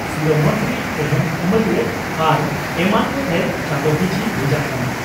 ᱥᱤᱨᱟᱹ ᱢᱚᱱᱛᱨᱤ ᱮᱦᱮᱢ ᱟᱢᱟᱞᱤᱭᱟᱹ ᱟᱨ ᱮᱢᱟᱱ ᱠᱚᱴᱷᱮᱱ ᱪᱟᱸᱫᱚ ᱯᱤᱪᱷᱤ ᱵᱷᱮᱡᱟᱜ ᱠᱟᱱᱟ ᱾